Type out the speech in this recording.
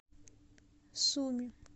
суми